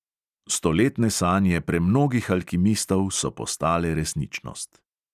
Stoletne sanje premnogih alkimistov so postale resničnost.